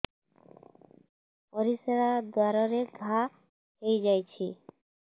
ପରିଶ୍ରା ଦ୍ୱାର ରେ ଘା ହେଇଯାଇଛି